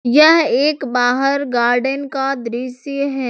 यह एक बाहर गार्डन का दृश्य है।